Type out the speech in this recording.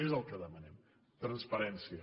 és el que demanem transparència